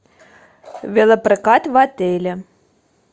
велопрокат в отеле